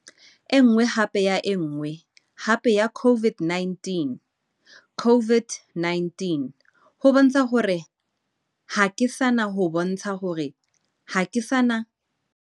Enngwe hape ya enngwe hape ya COVID-19. COVID-19 ho bontsha hore ha ke sana ho bontsha hore ha ke sana.